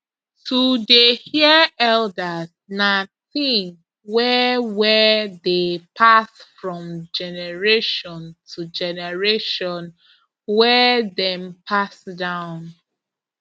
to dey hear elders na thing wey wey dey pass from generation to generation wey dem pass down